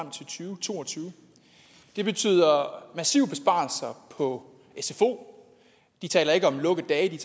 to og tyve det betyder massive besparelser på sfo de taler ikke om lukkedage